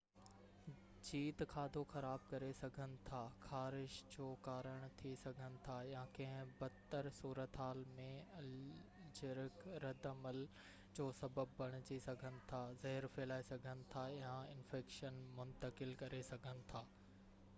جيت کاڌو خراب ڪري سگهن ٿا خارش جو ڪارڻ ٿي سگهن ٿا يا ڪنهن بد تر صورتحال ۾ الرجڪ رد عمل جو سبب بڻجي سگهن ٿا زهر ڦهلائي سگهن ٿا يا انفيڪشن منتقل ڪري سگهن ٿا